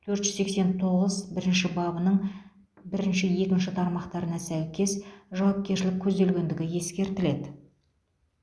төрт жүз сексен тоғыз бірінші бабының бірінші екінші тармақтарына сәйкес жауапкершілік көзделгендігі ескертіледі